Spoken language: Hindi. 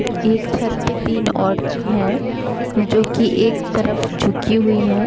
एक छत पर तीन औरतें हैं जो की एक तरफ झुकी हुई हैं।